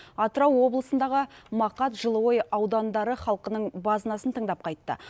атырау облысындағы мақат жылыой аудандары халқының базынасын тыңдап қайтты